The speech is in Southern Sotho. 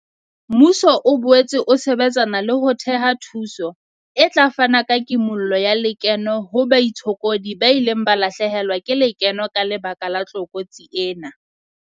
Mmuso o boetse o sebetsana le ho thea thuso e tla fana ka kimollo ya lekeno ho baitshokodi ba ileng ba lahlehelwa ke lekeno ka lebaka la tlokotsi ena.